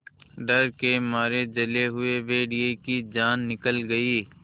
डर के मारे जले हुए भेड़िए की जान निकल गई